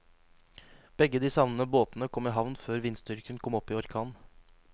Begge de savnede båtene kom i havn før vindstyrken kom opp i orkan.